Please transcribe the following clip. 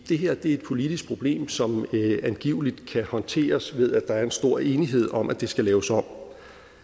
det her er et politisk problem som angiveligt kan håndteres ved at der er en stor enighed om at det skal laves om